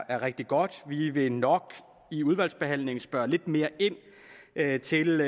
er rigtig godt vi vil nok i udvalgsbehandlingen spørge lidt mere ind til